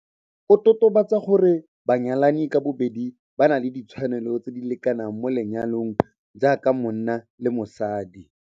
O totobatsa gore banyalani ka bobedi ba na le ditshwanelo tse di lekanang mo lenyalong jaaka monna le mosadi.